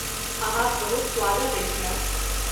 अहाँक बहुत स्वागत अछि, मैम।